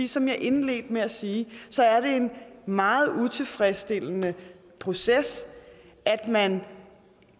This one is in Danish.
som jeg indledte med at sige er det en meget utilfredsstillende proces at man